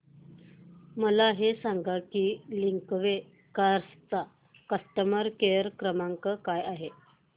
मला हे सांग की लिंकवे कार्स चा कस्टमर केअर क्रमांक काय आहे